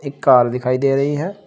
Car दिखाई दे रही है।